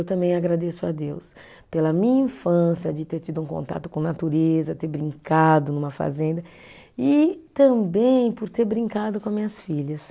Eu também agradeço a Deus pela minha infância, de ter tido um contato com natureza, ter brincado numa fazenda, e também por ter brincado com as minhas filhas.